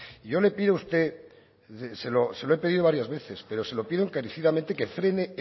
y yo le pido a usted se lo he pedido varias veces pero se lo pido encarecidamente que frene